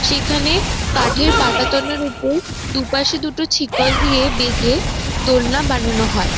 সেখানে কাঠের পাঠাতনের ওপর দুপাশে দুটো ছিকল দিয়ে বেঁধে দোলনা বানানো হয় ।